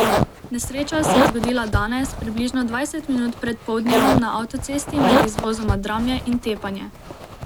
Nesreča se je zgodila danes, približno dvajset minut pred poldnevom na avtocesti med izvozoma Dramlje in Tepanje.